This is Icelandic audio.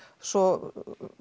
svo